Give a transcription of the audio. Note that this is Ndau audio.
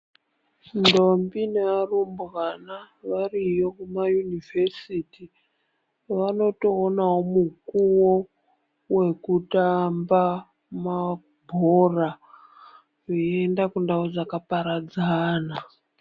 Ndombi nearumbwana variyo kuma yunivhesiti vanotoonawo mukuwo wekutamba mabhora veienda kundau dzakaparadzana.